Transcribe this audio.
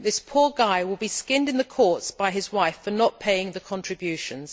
This poor guy will be skinned in the courts by his wife for not paying the contributions.